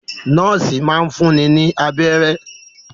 Nọ́ọ́sì máa ń fúnni ní abẹ́rẹ́.